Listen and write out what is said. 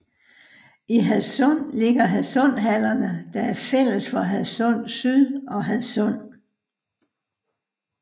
I Hadsund ligger Hadsund Hallerne der er fælles for Hadsund Syd og Hadsund